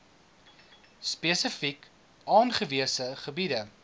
spesifiek aangewese gebiede